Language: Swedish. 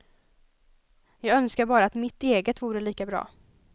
Jag önskar bara att mitt eget vore lika bra.